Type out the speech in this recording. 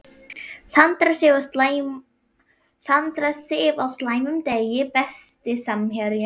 Sandra Sif á slæmum degi Besti samherjinn?